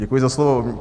Děkuji za slovo.